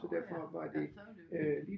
Nåh ja ja så var det jo